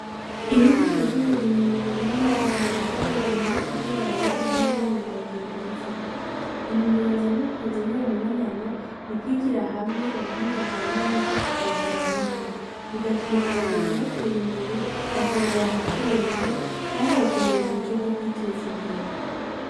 Inyigisho z'uburimyi mu murima zihuza abarimyi kugira barabire hamwe ingene ibiharage bimeze, intumbero nyamukuru y'uwo mubonano n'ukwigira hamwe ubuhinga bwa none bwo kugwiza umwimbu, bigatuma abarimyi baterimbere bakungurana ubwenge kandi bakongereza uburyo bwo kwiteza imbere.